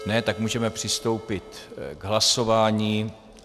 Ne, tak můžeme přistoupit k hlasování.